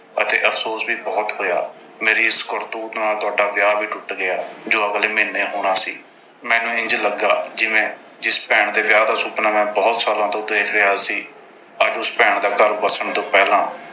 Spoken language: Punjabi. ਅਤੇ ਅਫ਼ਸੋਸ ਵੀ ਬਹੁਤ ਹੋਇਆ। ਮੇਰੀ ਇਸ ਕਰਤੂਤ ਨਾਲ ਤੁਹਾਡਾ ਵਿਆਹ ਵੀ ਟੁੱਟ ਗਿਆ ਜੋ ਅਗਲੇ ਮਹੀਨੇ ਹੋਣਾ ਸੀ। ਮੈਨੂੰ ਇੰਝ ਲੱਗਾ ਜਿਵੇਂ ਜਿਸ ਭੈਣ ਦੇ ਵਿਆਹ ਦਾ ਸੁਪਨਾ ਮੈਂ ਬਹੁਤ ਸਾਲਾਂ ਤੋਂ ਦੇਖ ਰਿਹਾ ਸੀ। ਅੱਜ ਉਸ ਭੈਣ ਦਾ ਘਰ ਵਸਣ ਤੋਂ ਪਹਿਲਾਂ